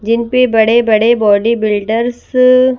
जिन पे बड़े बड़े बॉडी बिल्डर्स --